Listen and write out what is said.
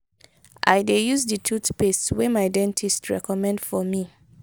i dey use di tooth paste wey my dentist recommend for me.